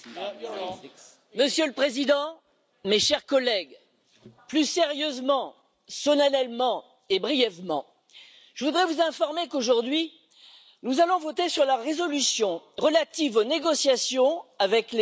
Monsieur le Président, mes chers collègues, plus sérieusement, solennellement et brièvement, je voudrais vous informer qu'aujourd'hui nous allons voter sur la résolution relative aux négociations avec les États Unis...